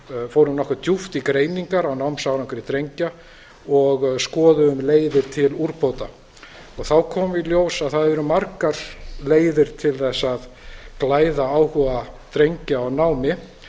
fórum nokkuð djúpt í greiningar á námsárangri drengja og skoðuðum leiðir til úrbóta þá kom í ljós að það eru margar leiðir til þess að glæða áhuga drengja á námi